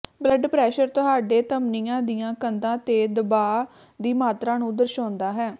blood pressure ਤੁਹਾਡੇ ਧਮਨੀਆਂ ਦੀਆਂ ਕੰਧਾਂ ਤੇ ਦਬਾਅ ਦੀ ਮਾਤਰਾ ਨੂੰ ਦਰਸਾਉਂਦਾ ਹੈ